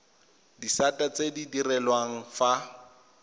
disata tse di direlwang fa